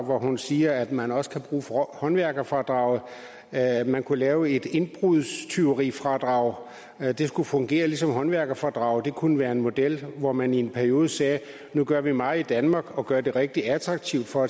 hvor hun siger at man også kan bruge håndværkerfradraget at man kunne lave et indbrudstyverifradrag det skulle fungere ligesom håndværkerfradraget det kunne være en model hvor man i en periode sagde at nu gør vi meget i danmark og vi gør det rigtig attraktivt for